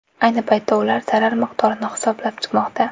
Ayni paytda ular zarar miqdorini hisoblab chiqmoqda.